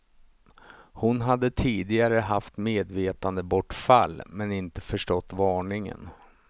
Hon hade tidigare haft medvetandebortfall, men inte förstått varningen.